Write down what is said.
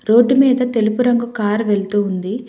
Road మీద తెలుపు రంగు కారు వెళుతుంది.